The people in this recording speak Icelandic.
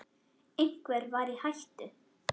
Einhver var í hættu.